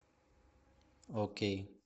окей